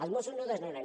els mossos no desnonen